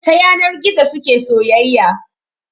Ta yanar gizo suke soyayya